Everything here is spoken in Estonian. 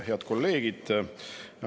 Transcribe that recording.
Head kolleegid!